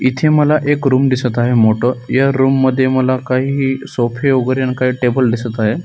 इथे मला एक रुम दिसत आहे मोठ य रुम मध्ये मला काही ही सोफे वगैरे आणि टेबल दिसत आहे.